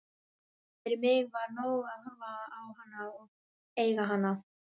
Ég gat ekki gert það fyrir lögfræðing minn að hætta við fyrirætlun mína.